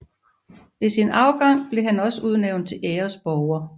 Ved sin afgang blev han også udnævnt til æresborger